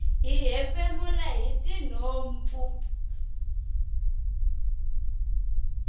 hi hefemula hitinhompfu